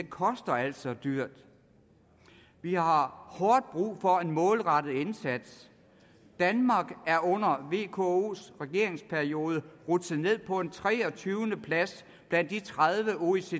koster altså dyrt vi har hårdt brug for en målrettet indsats danmark er under vkos regeringsperiode rutsjet ned på en treogtyvende plads blandt de tredive oecd